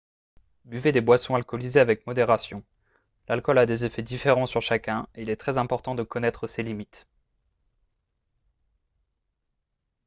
buvez des boissons alcoolisées avec modération l'alcool a des effets différents sur chacun et il est très important de connaître ses limites